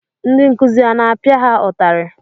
Ndị nkụzi a na-apịa ha ụtarị?